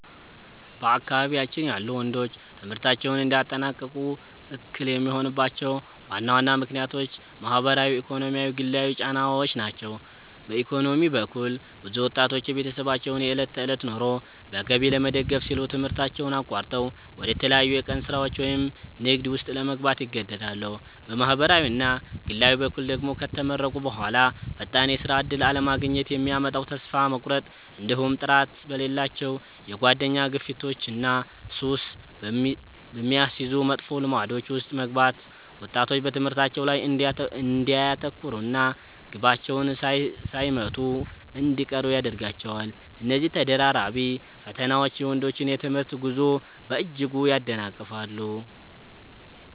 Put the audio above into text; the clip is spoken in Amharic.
በአካባቢያችን ያሉ ወንዶች ትምህርታቸውን እንዳያጠናቅቁ እክል የሚሆኑባቸው ዋና ዋና ምክንያቶች ማኅበራዊ፣ ኢኮኖሚያዊና ግላዊ ጫናዎች ናቸው። በኢኮኖሚ በኩል፣ ብዙ ወጣቶች የቤተሰባቸውን የዕለት ተዕለት ኑሮ በገቢ ለመደገፍ ሲሉ ትምህርታቸውን አቋርጠው ወደ ተለያዩ የቀን ሥራዎች ወይም ንግድ ውስጥ ለመግባት ይገደዳሉ። በማኅበራዊና ግላዊ በኩል ደግሞ፣ ከተመረቁ በኋላ ፈጣን የሥራ ዕድል አለማግኘት የሚያመጣው ተስፋ መቁረጥ፣ እንዲሁም ጥራት በሌላቸው የጓደኛ ግፊቶችና ሱስ በሚያስይዙ መጥፎ ልማዶች ውስጥ መግባት ወጣቶች በትምህርታቸው ላይ እንዳያተኩሩና ግባቸውን ሳይመቱ እንዲቀሩ ያደርጋቸዋል። እነዚህ ተደራራቢ ፈተናዎች የወንዶችን የትምህርት ጉዞ በእጅጉ ያደናቅፋሉ።